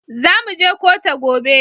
Zamu je koto gobe